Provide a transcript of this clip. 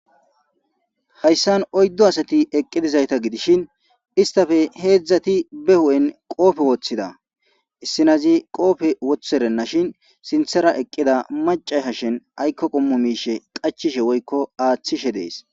Hayssan oyddU asati eqqidizayta gidishin istafe heedzdzati be hu7en qoofe woththida. Issinazi qoofe wotherennashin sinthera eqqida maccay hashen aykko qommo miishe qachishe woykko aaththishe dees.